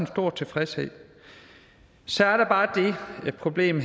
stor tilfredshed så er der bare det problem